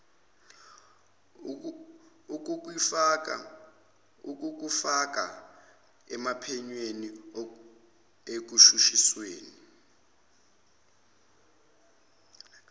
ukukufaka ophenyweni ekushushisweni